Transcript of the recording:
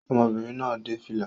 Ọmọbìnrin náà dé fìlà